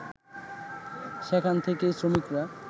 সেখান থেকেই শ্রমিকরা